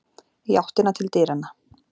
Í áttina til dyranna.